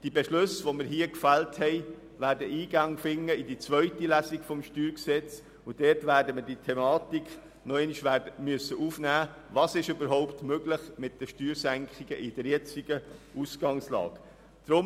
Die hier getroffenen Beschlüsse werden in die zweite Lesung des StG Eingang finden, und dort werden wir diese Thematik noch einmal aufnehmen müssen, nämlich die Frage, was überhaupt angesichts der aktuellen Ausgangslage bei Steuersenkungen möglich ist.